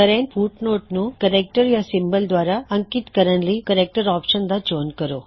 footnote ਨੂੰ character ਜਾਂ symbol ਦੁਆਰਾ ਅੰਕਿਤ ਕਰਨ ਲਈ ਕੇਰੈਕ੍ਟਰ ਆਪਸ਼ਨ ਦਾ ਚੋਣ ਕਰੋ